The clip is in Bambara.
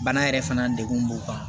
Bana yɛrɛ fana degun b'u kan